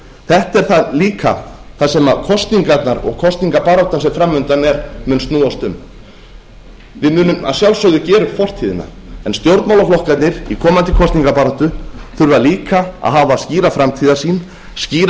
þetta er líka það sem kosningarnar og kosningabaráttan sem fram undan er mun snúast um við munum að sjálfsögðu gera upp fortíðina en stjórnmálaflokkarnir í komandi kosningabaráttu þurfa líka að hafa skýra framtíðarsýn skýra